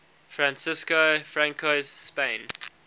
francisco franco's spain